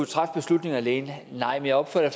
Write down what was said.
træffe beslutninger alene nej men jeg opfatter